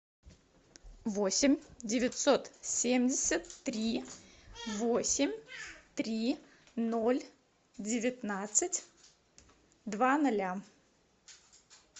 восемь девятьсот семьдесят три восемь три ноль девятнадцать два ноля